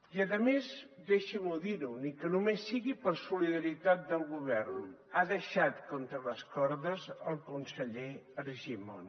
i a més deixim’ho dir ni que només sigui per solidaritat del govern ha deixat contra les cordes el conseller argimon